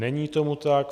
Není tomu tak.